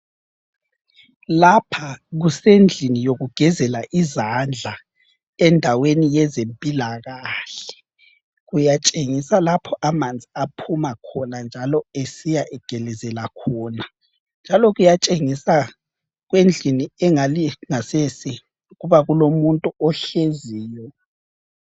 Lapha kusendlini yokugezela izandla endaweni yezempilakahle. Kuyatshengisa lapho amanzi aphuma khona njalo esiyagelezela khona. Njalo kuyatshengisa kwendlini engale ngasese ukuba kulomuntu ohleziyo.